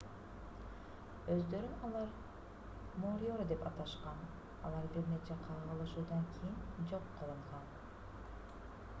өздөрүн алар мориори деп аташкан алар бир нече кагылышуудан кийин жок кылынган